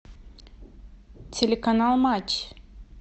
телеканал матч